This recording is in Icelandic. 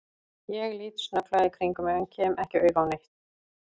Ég lít snögglega í kringum mig en kem ekki auga á neitt.